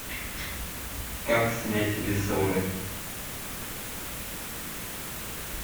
как снять ресоры